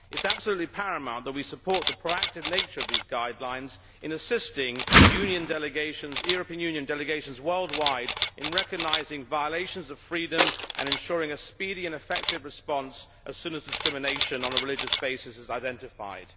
It is absolutely paramount that we support the proactive nature of these guidelines in assisting European Union delegations worldwide to recognise violations of freedom and ensure a speedy and effective response as soon as discrimination on a religious basis is identified.